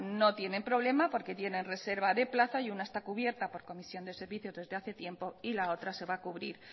no tienen problema porque tienen reserva de plazas y una está cubierta por comisión de servicios desde hace tiempo y la otra se va a cubrir